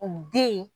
O den